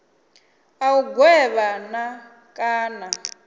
a u gwevha na kana